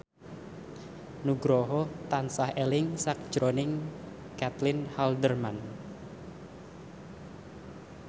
Nugroho tansah eling sakjroning Caitlin Halderman